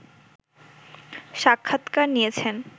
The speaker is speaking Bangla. সাক্ষাতকার নিয়েছেন